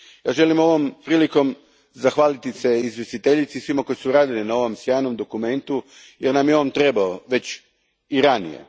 Želim ovom prilikom zahvaliti se izvjestiteljici i svima koji su radili na ovom sjajnom dokumentu jer nam je on trebao već i ranije.